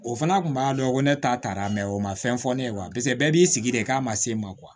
O fana kun b'a dɔn ko ne ta taara mɛ o ma fɛn fɔ ne ye paseke bɛɛ b'i sigi de k'a ma se ma